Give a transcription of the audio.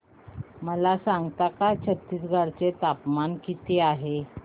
मला सांगता का छत्तीसगढ चे तापमान किती आहे